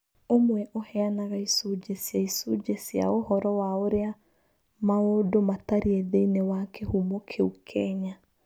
Ũmwe ũheanaga icunjĩ cia icunjĩ cia ũhoro wa ũrĩa maũndũ matariĩ thĩinĩ wa Kihumo kĩu Kenya.